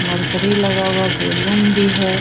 Mercury लगा हुआ है बैलून भी है।